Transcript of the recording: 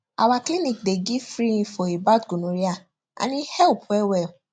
our clinic dey give free info about gonorrhea and e help well well